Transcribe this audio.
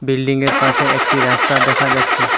বিল্ডিংয়ের পাশে একটি রাস্তা দেখা যাচ্ছে।